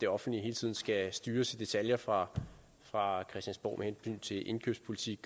det offentlige hele tiden skal styres i detaljer fra fra christiansborg med hensyn til indkøbspolitik